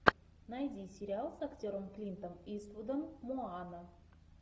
найди сериал с актером клинтом иствудом моана